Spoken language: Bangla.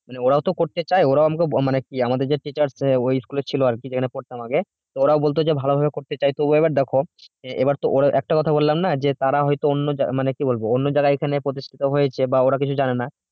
মানে ওরাওতো করছে ওরা অন্তত মানে আমাদের teacher করছিল আর কি যেখানে পড়তাম আগে তো ওরা বলতেছে ভালোভাবে করতে চাইতো তো এবার দেখো এবার তো ওরা একটা কথা বললাম না যে তারা হয়তো অন্য যারা মানে কি বলবো অন্য যারা এখানে প্রতিষ্ঠিত হয়েছে বা ওরা কিছু জানেনা